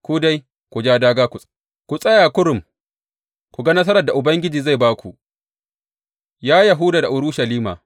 Ku dai, ku ja dāgā, ku tsaya kurum ku ga nasarar da Ubangiji zai ba ku, ya Yahuda da Urushalima.